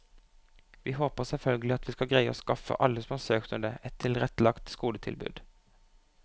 Vi håper selvfølgelig at vi skal greie å skaffe alle som har søkt om det, et tilrettelagt skoletilbud.